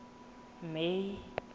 may